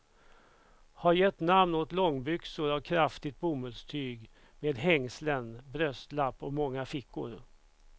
Har gett namn åt långbyxor av kraftigt bomullstyg med hängslen, bröstlapp och många fickor.